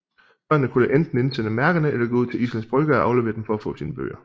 Børnene kunne enten indsende mærkerne eller gå ud til Islands Brygge og aflevere dem for at få sine bøger